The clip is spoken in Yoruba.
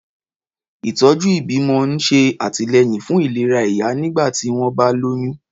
Ìtọ́jú ìbímọ ń ṣe àtìlẹ́yìn fún ìlera ìyá nígbà tí wọ́n bá lóyún.